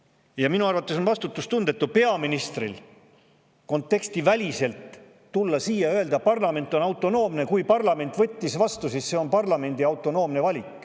Ja minu arvates on vastutustundetu peaministril kontekstiväliselt tulla siia ja öelda, et parlament on autonoomne ja kui parlament võttis vastu, siis see on parlamendi autonoomne valik.